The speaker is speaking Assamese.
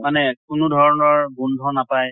মানে কোনো ধৰণৰ গোন্ধ নাপায়